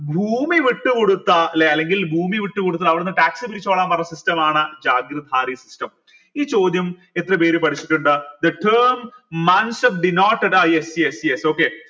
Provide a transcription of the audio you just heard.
ഭൂമി വിട്ടുകൊടുത്ത ല്ലെ അല്ലെങ്കിൽ ഭൂമി വിട്ടുകൊടുത്തിട്ട് അവിടെന്ന് tax പിരിച്ചോളാൻ പറഞ്ഞ system ആണ് system ഈ ചോദ്യം എത്ര പേര് പഠിച്ചിട്ടുണ്ട് the term yes yes